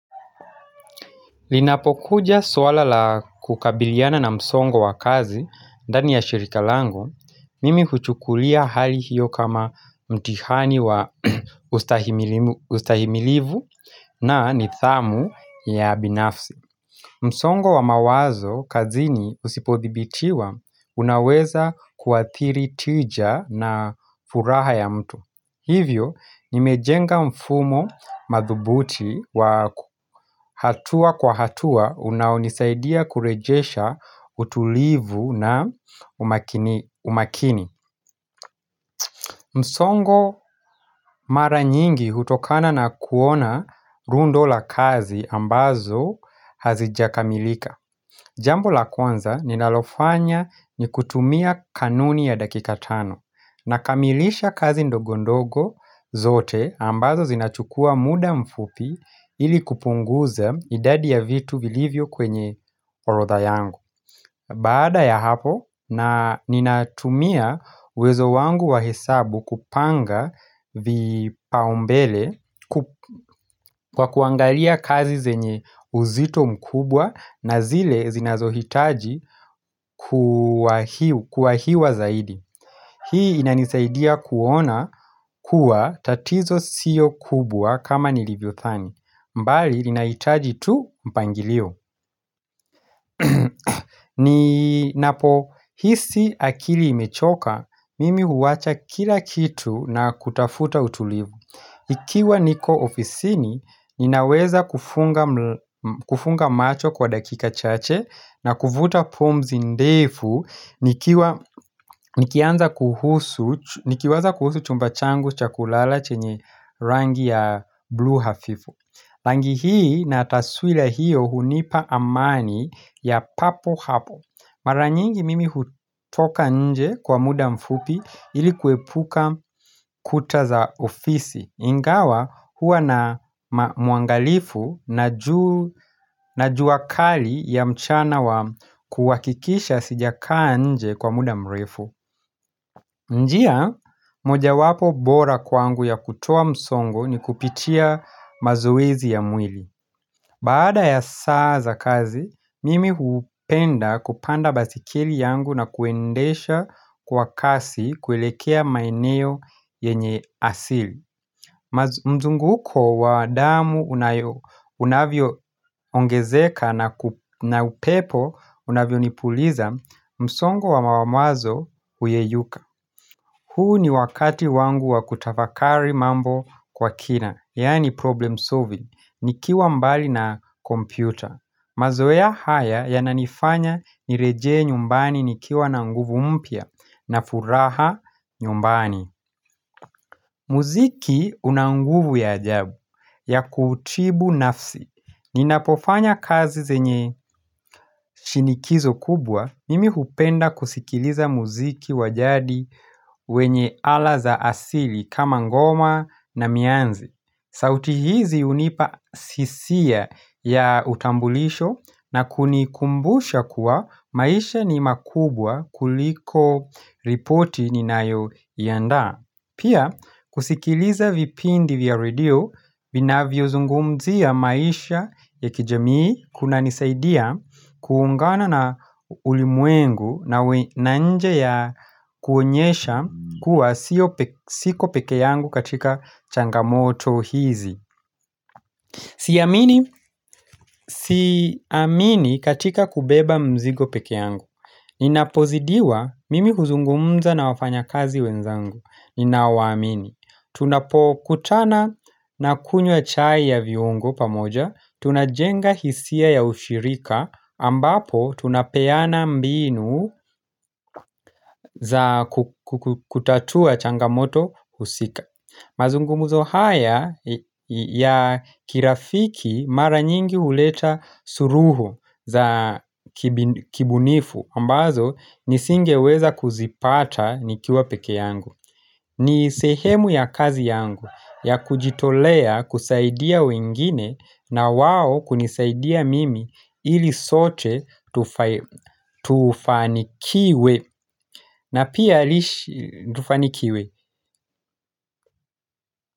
Linapokuja swala la kukabiliana na msongo wa kazi ndani ya shirika langu, mimi kuchukulia hali hiyo kama mtihani wa ustahimilivu na nidhamu ya binafsi. Msongo wa mawazo kazini usipodhibitiwa unaweza kuathiri tija na furaha ya mtu Hivyo nimejenga mfumo madhubuti wa hatua kwa hatua unaonisaidia kurejesha utulivu na umakini msongo mara nyingi hutokana na kuona rundo la kazi ambazo hazijakamilika Jambo la kwanza ni nalofanya ni kutumia kanuni ya dakika tano na kamilisha kazi ndogondogo zote ambazo zinachukua muda mfupi ili kupunguza idadi ya vitu vilivyo kwenye orodha yangu. Baada ya hapo na ninatumia uwezo wangu wa hesabu kupanga vipaumbele kwa kuangalia kazi zenye uzito mkubwa na zile zinazohitaji kuwaiwa kuwahiwa zaidi Hii inanisaidia kuona kuwa tatizo siyo kubwa kama nilivyothani mbali inahitaji tu mpangilio ni napo hisi akili imechoka, mimi huwacha kila kitu na kutafuta utulivu Ikiwa niko ofisini, ninaweza kufunga kufunga macho kwa dakika chache na kuvuta pumzi ndefu, nikianza kuhusu chumba changu cha kulala chenye rangi ya blue hafifu Rangi hii na taswila hiyo hunipa amani ya papo hapo. Maranyingi mimi hutoka nje kwa muda mfupi ili kuepuka kuta za ofisi. Ingawa hua na mwangalifu na jua kali ya mchana wa kuwakikisha sijakaa nje kwa muda mrefu. Njia, moja wapo bora kwangu ya kutoa msongo ni kupitia mazoezi ya mwili. Baada ya saa za kazi, mimi hupenda kupanda basikeli yangu na kuendesha kwa kasi kuelekea maeneo yenye asili. Mzunguko wa damu unavyo ongezeka na upepo unavyo nipuliza, msongo wa mawamwazo huyeyuka. Huu ni wakati wangu wa kutafakari mambo kwa kina, yani problem solving, nikiwa mbali na kompyuta. Mazoea haya yananifanya nirejee nyumbani nikiwa na nguvu mpya na furaha nyumbani. Muziki unanguvu ya ajabu ya kutibu nafsi. Ninapofanya kazi zenye shinikizo kubwa mimi hupenda kusikiliza muziki wa jadi wenye ala za asili kama ngoma na mianzi. Sauti hizi hunipa sisiya ya utambulisho na kunikumbusha kuwa maisha ni makubwa kuliko ripoti ninayo iyanda. Pia, kusikiliza vipindi vya radio, vinavyo zungumzia maisha ya kijamii kuna nisaidia kuungana na ulimwengu na nje ya kuonyesha kuwa siko peke yangu katika changamoto hizi. Siamini katika kubeba mzigo peke yangu Ninapozidiwa mimi kuzungumza na wafanya kazi wenzangu Ninaowamini Tunapokutana na kunywa chai ya viungo pamoja Tunajenga hisia ya ushirika ambapo tunapeana mbinu za kutatua changamoto husika mazungumuzo haya ya kirafiki mara nyingi uleta suruhu za kibunifu ambazo nisingeweza kuzipata nikiwa peke yangu ni sehemu ya kazi yangu ya kujitolea kusaidia wengine na wao kunisaidia mimi ili sote tufanikiwe na pia lishi tufanikiwe.